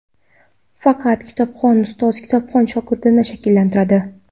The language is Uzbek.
Faqat kitobxon ustoz kitobxon shogirdni shakllantiradi.